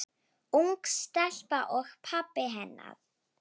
Ung stelpa og pabbi hennar.